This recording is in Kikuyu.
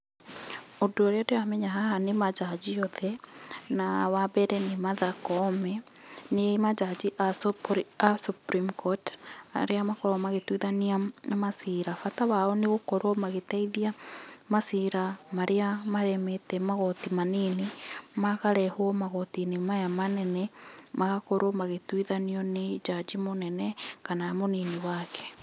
Ũndũ ũrĩa ndĩramenya haha nĩ manjanji othe, na wa mbere nĩ Martha Koome, nĩ manjanji a Supreme Court, arĩa makoragwo magĩtuithania macira. Bata wao nĩ gũkorwo magĩteithia macira Marĩa maremete magoti manini, makarehwo magoti maya manene, magakorwo magĩtuithanio nĩ njanji mũnene kana mũnini wake.